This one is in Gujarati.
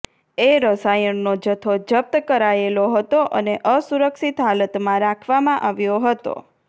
એ રસાયણનો જથ્થો જપ્ત કરાયેલો હતો અને અસુરક્ષિત હાલતમાં રાખવામાં આવ્યો હતો